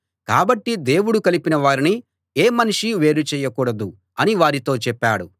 కాబట్టి దేవుడు కలిపిన వారిని ఏ మనిషీ వేరు చేయకూడదు అని వారితో చెప్పాడు